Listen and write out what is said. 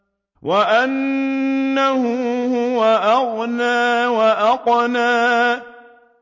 وَأَنَّهُ هُوَ أَغْنَىٰ وَأَقْنَىٰ